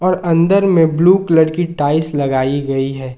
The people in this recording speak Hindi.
अंदर में ब्लू कलर की टाइल्स लगाई गई है।